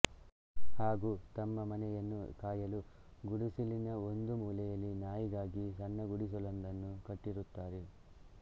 ಹಾಗೂ ತಮ್ಮ ಮನೆಯನ್ನು ಕಾಯಲೂ ಗುಡಿಸಲಿನ ಒಂದು ಮೂಲೆಯಲ್ಲಿ ನಾಯಿಗಾಗಿ ಸಣ್ಣ ಗುಡಿಸಲೊಂದನ್ನು ಕಟ್ಟಿರುತ್ತಾರೆ